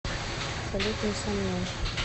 салют не со мной